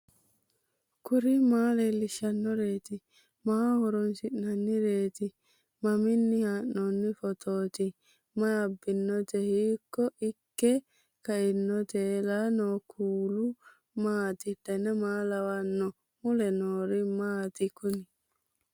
kuri maa leellishannoreeti maaho horoonsi'noonnireeti mamiinni haa'noonni phootooti mayi abbinoote hiito ikke kainote ellannohu kuulu maati dan maa lawannoho mule noori maati kuni